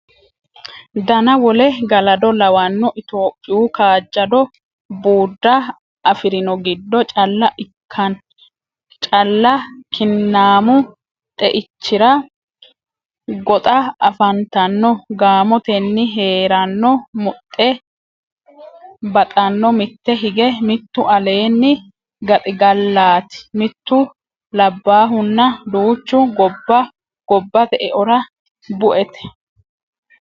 dana wole Galado lawanno Itophiyu kaajjado buudda afi rino giddo calla kinnaamu xeichira goxa afantanno gaamotenni hee ranno Muxxe baxanno mitte hige mittu aleenni gaxigallaati mittu labbaahunna duuchu Gobbate eora buete.